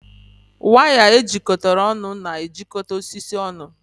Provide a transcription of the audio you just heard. Waya ejikọtara ọnụ na-ejikọta osisi ọnụ